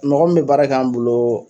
Mɔgɔn mun bɛ baara k'an' bolo